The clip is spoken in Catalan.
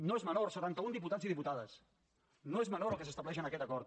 no és menor setanta un diputats i diputades no és menor el que s’estableix en aquest acord